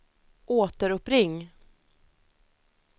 återuppring